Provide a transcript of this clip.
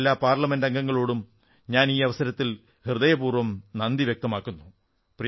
രാജ്യത്തെ എല്ലാ പാർലമെന്റംഗങ്ങളോടും ഞാൻ ഈ അവസരത്തിൽ ഹൃദയപൂർവ്വം നന്ദി വ്യക്തമാക്കുന്നു